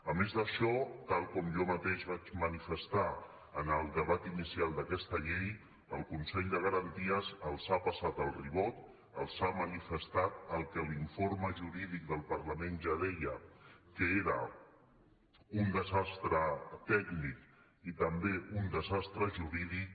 a més d’això tal com jo mateix vaig manifestar en el debat inicial d’aquesta llei el consell de garanties els ha passat el ribot els ha manifestat el que l’informe jurídic del parlament ja deia que era un desastre tècnic i també un desastre jurídic